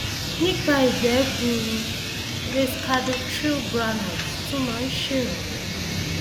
nípa ìgbẹ gbuuru racecadotril granules tún máa ń ṣèrànwọ